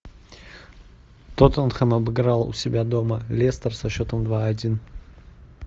тоттенхэм обыграл у себя дома лестер со счетом два один